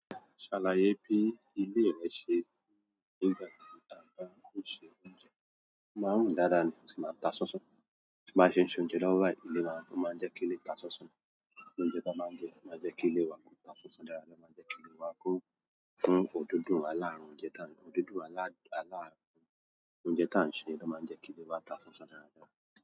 Ṣàlàyé bí ilé rẹ ṣe nígbà tí a bá ń ṣe oúnjẹ. Máa ń rùn dáadáa ni, ó sì máa ń ta sánsán. Bá ṣe ń ṣe oúnjẹ lọ́wọ́ báìí, ilé máa ń, ó máa ń jẹ́ kí ilé ta sánsán. Oúnjẹ tá a máa ń jẹ máa jẹ́ kí ilé wa ko tá sánsán dáadáa, ló máa ń jẹ́ kí ilé wa ko fún òdodo àláàrùn oúnjẹ ta, òdodo àláàrùn oúnjẹ ta ń ṣe ni ló máa ń jẹ́ kí ilé wa ta sánsán dáadáa.